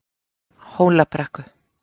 Hólabrekku